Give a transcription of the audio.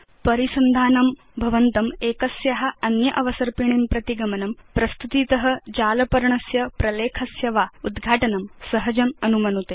परिसन्धानं भवन्तम् एकस्या अन्य अवसर्पिणीं प्रति गमनं प्रस्तुतित जाल पर्णस्य प्रलेखस्य वा उद्घाटनं सहजम् अनुमनुते